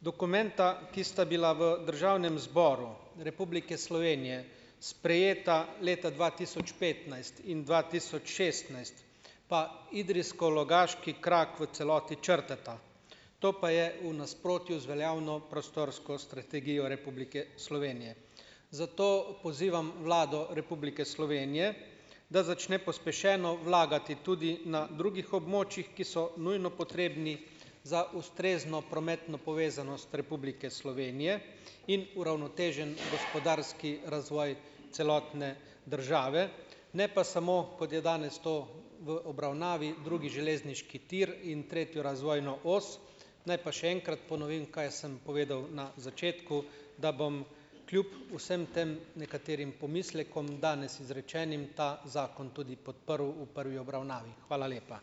Dokumenta, ki sta bila v Državnem zboru Republike Slovenije sprejeta leta dva tisoč petnajst in dva tisoč šestnajst pa idrijsko-logaški krak v celoti črtata. To pa je v nasprotju z veljavno prostorsko strategijo Republike Slovenije, zato pozivam Vlado Republike Slovenije, da začne pospešeno vlagati tudi na drugih območjih, ki so nujno potrebni, za ustrezno prometno povezanost Republike Slovenije in uravnotežen gospodarski razvoj celotne države, ne pa samo, kod je danes to v obravnavi drugi železniški tir in tretjo razvojno os. Naj pa še enkrat ponovim, kaj sem povedal na začetku, da bom kljub vsem tem nekaterim pomislekom danes izrečenim ta zakon tudi podprl v prvi obravnavi, hvala lepa.